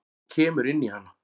Og kemur inn í hana.